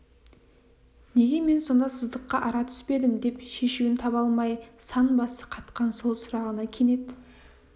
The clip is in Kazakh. неге мен сонда сыздыққа ара түспедім деп шешуін таба алмай сан басы қатқан сол сұрағына кенет